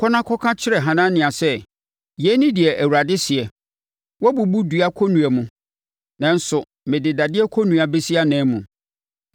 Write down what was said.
“Kɔ na kɔka kyerɛ Hanania sɛ, ‘Yei ne deɛ Awurade seɛ: Woabubu dua kɔnnua mu, nanso mede dadeɛ kɔnnua bɛsi anan mu.